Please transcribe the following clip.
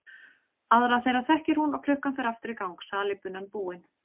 Aðra þeirra þekkir hún og klukkan fer aftur í gang, salíbunan búin.